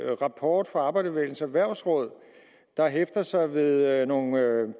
rapport fra arbejderbevægelsens erhvervsråd der hæfter sig ved nogle